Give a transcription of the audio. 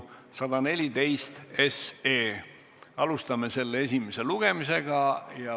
Alustame selle esimest lugemist.